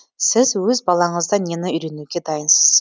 сіз өз балаңыздан нені үйренуге дайынсыз